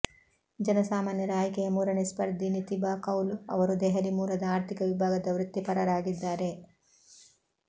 ಜನ ಸಾಮಾನ್ಯರ ಆಯ್ಕೆಯ ಮೂರನೇ ಸ್ಪರ್ಧಿ ನಿತಿಬಾ ಕೌಲ್ ಅವರು ದೆಹಲಿ ಮೂಲದ ಆರ್ಥಿಕ ವಿಭಾಗದ ವೃತ್ತಿಪರರಾಗಿದ್ದಾರೆ